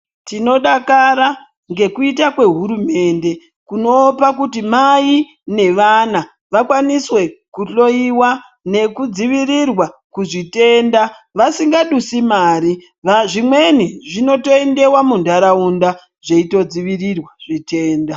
Tinodakara ngekuita kwehurumende kunopa kuti mai nevana vakaniswe kunohloiwa nekudzivirirwa kuzvitenda vasingadusi mari, ndaa zvimweni zvinoto endewa munharaunda zveitodzivirirwa zvitenda.